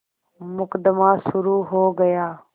मुकदमा शुरु हो गया